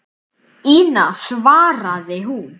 Ína, svaraði hún.